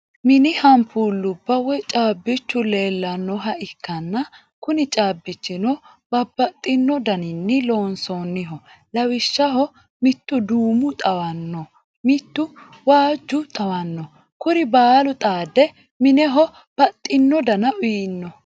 Mini hampuullubba woyi caabbichu leellannoha ikkana Kuni caabbichino babbaxino daninni loonsoonniho lawishshaho mittuduumo xawanno, mittu waajjo xawanno kuri baalu xaade mineho baxxino Dana uyino.